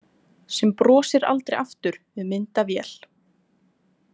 Sem brosir aldrei aftur við myndavél.